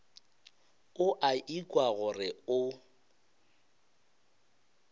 o a ikwa gore o